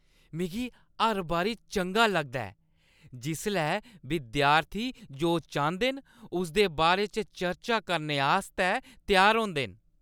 मिगी हर बारी चंगा लगदा ऐ जिसलै विद्यार्थी जो चांह्‌दे न उसदे बारे च चर्चा करने आस्तै त्यार होंदे न ।